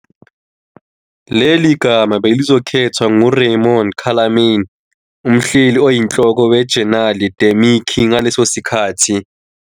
Leli gama belizokhethwa nguRaymond Calame, umhleli oyinhloko weJenali de Mickey ngaleso sikhathi6.